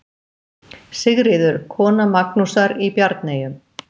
Sigríður, kona Magnúsar í Bjarneyjum.